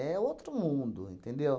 outro mundo, entendeu?